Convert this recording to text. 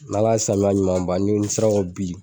N'ala ye samiya ɲuman ban ni olu sera ko bili